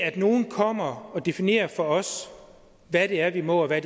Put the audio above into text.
at nogen kommer og definerer for os hvad det er vi må og hvad